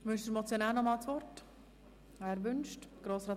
Wünscht der Motionär noch einmal das Wort?